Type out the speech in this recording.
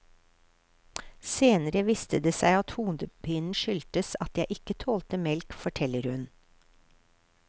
Senere viste det seg at hodepinen skyldtes at jeg ikke tålte melk, forteller hun.